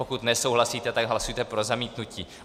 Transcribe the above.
Pokud nesouhlasíte, tak hlasujte pro zamítnutí.